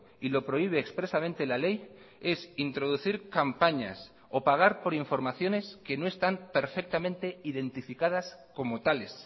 y lo prohíbe expresamente la ley es introducir campañas o pagar por informaciones que no están perfectamente identificadas como tales